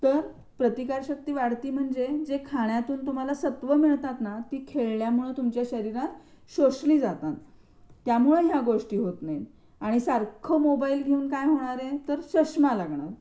तर प्रतिकार शक्ती वाढते म्हणजेच तर जे खाण्यातून तुम्हाला सत्व मिळतात ना ती खेळल्यामुळे तुमच्या शरीरात शोषली जातातं त्यामुळे ह्या गोष्टी होत नाहीत आणि सारख मोबाईल घेऊन काय होणारे तर चष्मा लागणार डॉक दुखणार